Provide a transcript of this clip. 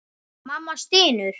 Mamma stynur.